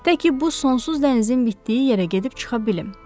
Təki bu sonsuz dənizin bitdiyi yerə gedib çıxa bilim.